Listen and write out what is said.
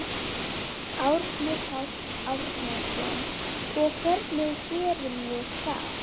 Árni Páll Árnason: Og hvernig gerum við það?